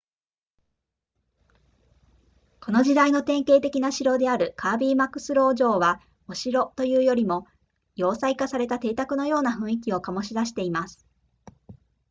この時代の典型的な城であるカービーマクスロー城はお城というよりも要塞化された邸宅のような雰囲気を醸し出しています